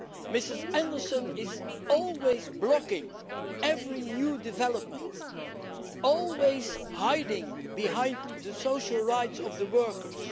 Ms Anderson is always blocking every new development and always hiding behind the social rights of the workers.